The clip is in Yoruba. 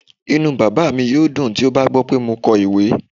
Inú bàbá mi yóò dùn tó bá gbọ́ pé mo kọ ìwé.